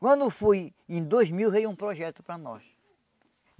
Quando foi em dois mil, veio um projeto para nós.